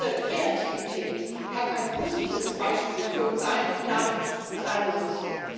Diese Kreativität kann ein positives Beispiel für uns sein und damit uns allen nutzen.